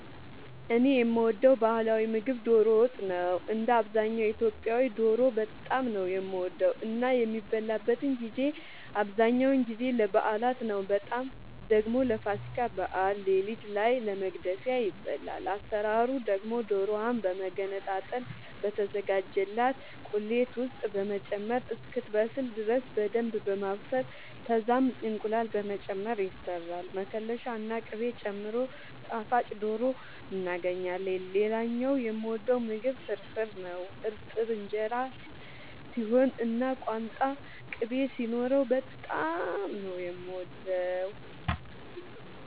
እኔ የምወደው ባህላዊ ምግብ ዶሮ ወጥ ነው። እንደ አብዛኛው ኢትዮጵያዊ ዶሮ በጣም ነው የምወደው እና የሚበላበትን ጊዜ አብዛኛውን ጊዜ ለበዓላት ነው በጣም ደግሞ ለፋሲካ በዓል ሌሊት ላይ ለመግደፊያ ይበላል። አሰራሩ ደግሞ ዶሮዋን በመገነጣጠል በተዘጋጀላት ቁሌት ውስጥ በመጨመር እስክትበስል ድረስ በደንብ በማብሰል ከዛም እንቁላል በመጨመር ይሰራል መከለሻ ና ቅቤ ጨምሮ ጣፋጭ ዶሮ እናገኛለን። ሌላኛው የምወደው ምግብ ፍርፍር ነው። እርጥብ እንጀራ ሲሆን እና ቋንጣ ቅቤ ሲኖረው በጣም ነው የምወደው።